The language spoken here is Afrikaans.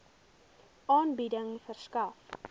aanbieding verskaf